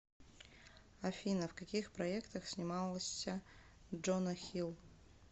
афина в каких проектах снимался джона хилл